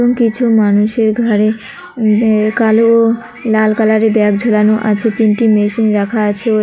এবং কিছু মানুষের ঘাড়ে উম বে কালো লাল কালারের ব্যাগ ঝোলানো আছে তিনটি মেশিন রাখা আছে ও--